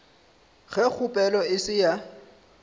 ge kgopelo e se ya